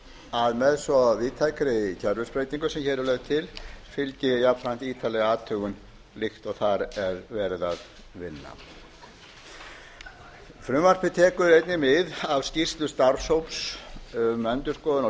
að með svo víðtækri kerfisbreytingu sem hér er lögð til fylgi jafnframt ítarleg athugun líkt og þar er verið að vinna frumvarpið tekur einnig við af skýrslu starfshóps um endurskoðun á